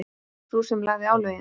Sú sem lagði álögin?